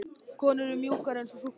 Konur eru mjúkar eins og súkkulaði.